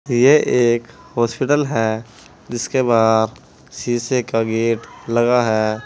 यह एक हॉस्पिटल है जिसके बाहर शीशे का गेट लगा है।